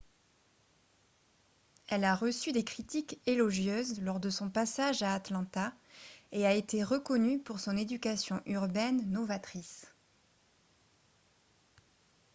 elle a reçu des critiques élogieuses lors de son passage à atlanta et a été reconnue pour son éducation urbaine novatrice